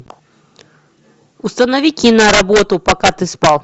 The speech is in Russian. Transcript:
установи киноработу пока ты спал